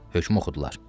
Hökm oxudular.